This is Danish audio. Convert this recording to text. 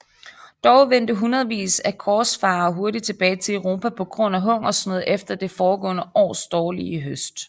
Dog vendte hundredvis af korsfarere hurtigt tilbage til Europa på grund af hungersnød efter det foregående års dårlige høst